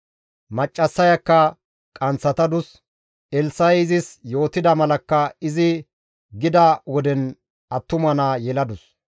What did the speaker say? Maccassayakka qanththatadus; Elssa7i izis yootida malakka izi gida woden attuma naa yeladus.